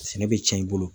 Sɛnɛ bɛ cɛn i bolo